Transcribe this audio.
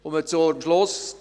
Ich komme zum Schluss.